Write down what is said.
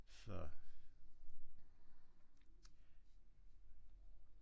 Det der det ser lidt gråt ud